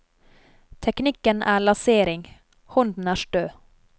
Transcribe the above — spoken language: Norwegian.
Teknikken er lasering, hånden er stø.